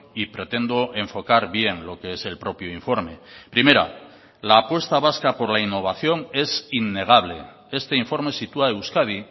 y pretendo enfocar bien lo que es el propio informe primera la apuesta vasca por la innovación es innegable este informe sitúa a euskadi